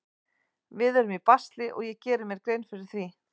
Við erum í basli og ég geri mér grein fyrir því.